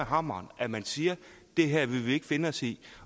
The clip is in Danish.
hammeren at man siger det her vil vi ikke finde os i